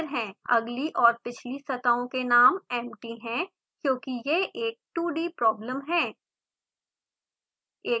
अगली और पिछली सतहों के नाम empty हैं क्योंकि यह एक 2d प्रॉब्लम है